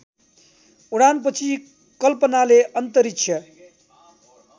उडानपछि कल्पनाले अन्तरिक्ष